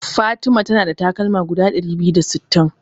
Fatima ta na da takalma guda ɗari biyu da sittin.